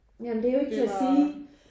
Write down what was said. Ja men det er jo ikke til at sige